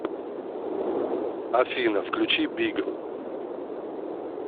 афина включи б и г